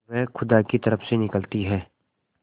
वह खुदा की तरफ से निकलती है